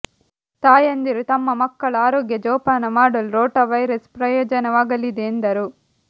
ತಾಯಂದಿರು ತಮ್ಮ ಮಕ್ಕಳ ಆರೋಗ್ಯ ಜೋಪಾನ ಮಾಡಲು ರೋಟಾ ವೈರಸ್ ಪ್ರಯೋಜನವಾಗಲಿದೆ ಎಂದರು